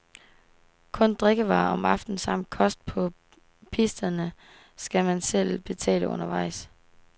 Kun drikkevarer om aftenen samt frokost på pisterne skal man selv betale undervejs.